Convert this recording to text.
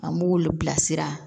An b'olu bila sira